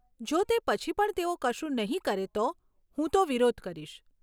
જો તે પછી પણ તેઓ કશું નહીં કરે તો, હું તો વિરોધ કરીશ.